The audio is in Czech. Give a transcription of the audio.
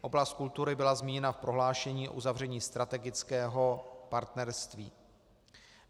Oblast kultury byla zmíněna v prohlášení o uzavření strategického partnerství.